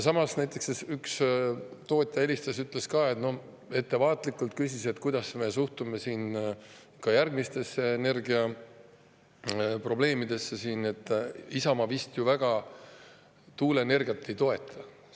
Samas näiteks üks tootja helistas ja ettevaatlikult küsis, kuidas me suhtume ka järgmistesse energiaprobleemidesse, et Isamaa tuuleenergiat vist ju väga ei toeta.